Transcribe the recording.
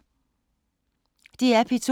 DR P2